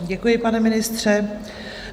Děkuji, pane ministře.